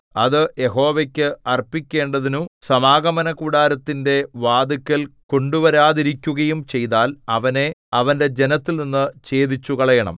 അത് യഹോവയ്ക്ക് അർപ്പിക്കേണ്ടതിനു സമാഗമനകൂടാരത്തിന്റെ വാതില്ക്കൽ കൊണ്ടുവരാതിരിക്കുകയും ചെയ്താൽ അവനെ അവന്റെ ജനത്തിൽനിന്നു ഛേദിച്ചുകളയണം